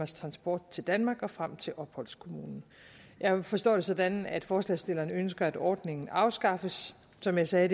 transport til danmark og frem til opholdskommunen jeg forstår det sådan at forslagsstilleren ønsker at ordningen afskaffes som jeg sagde